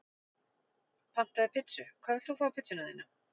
Pantaði pizzu Hvað vilt þú fá á pizzuna þína?